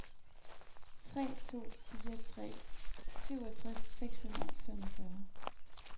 tre to fire tre syvogtres seks hundrede og femogfyrre